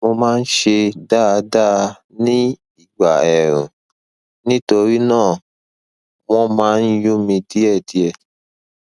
mo máa ń ṣe dáadáa ní ìgbà ẹẹrùn nítorí náà wọn máa ń yún mí díẹdíẹ